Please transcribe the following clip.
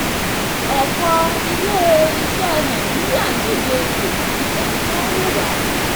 ọ̀pọ̀ ilé-iṣẹ́ nàìjíríà ń díje kò sí ẹni tó ń wùwà.